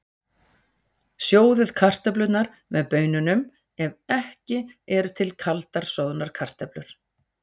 Sjóðið kartöflurnar með baununum ef ekki eru til kaldar soðnar kartöflur.